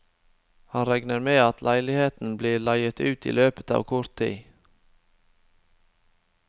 Han regner med at leiligheten blir leiet ut i løpet av kort tid.